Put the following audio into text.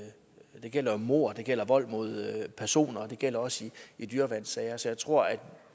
det gælder mord det gælder vold mod personer og det gælder også i dyreværnssager så jeg tror at